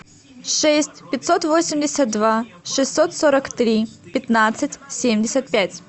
шесть пятьсот восемьдесят два шестьсот сорок три пятнадцать семьдесят пять